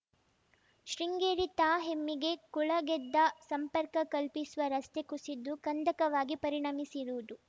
ಶೃಂಗೇರಿ ತಾ ಹೆಮ್ಮಿಗೆ ಕೂಳೆಗೆದ್ದೆ ಸಂಪರ್ಕ ಕಲ್ಪಿಸುವ ರಸ್ತೆ ಕುಸಿದು ಕಂದಕವಾಗಿ ಪರಿಣಮಿಸಿರುವುದು